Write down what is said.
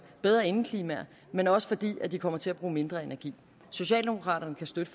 bedre indeklima men også fordi vi kommer til at bruge mindre energi socialdemokraterne kan støtte